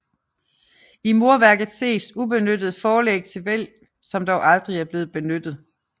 I murværket ses ubenyttede forlæg til hvælv som dog aldrig er blevet benyttet